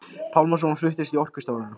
Pálmasonar fluttist til Orkustofnunar.